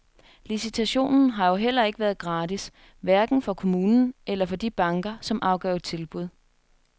Licitationen har jo heller ikke været gratis, hverken for kommunen eller for de banker, som afgav tilbud.